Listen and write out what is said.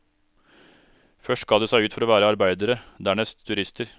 Først ga de seg ut for å være arbeidere, dernest turister.